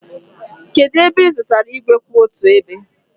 kedu ebe ị zụtara igwe kwụ otu ebe